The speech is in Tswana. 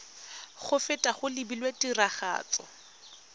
go feta go lebilwe tiragatso